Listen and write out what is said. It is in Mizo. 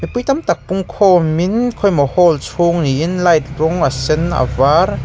pui tamtak pungkhawmin khawimaw hall chhung niin light rawng a sen a var.